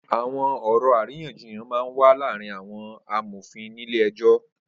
Awọn ọrọ àrínyànjíyàn mà n wà làárin awọn àmófín nilé ẹjọ